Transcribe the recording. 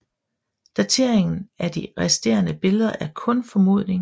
Dateringen af de resterende billeder er kun formodning